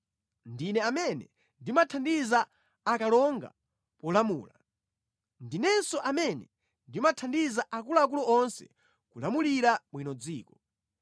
Ndine amene ndimathandiza akalonga polamula. Ndinenso amene ndimathandiza akuluakulu onse kulamulira bwino dziko.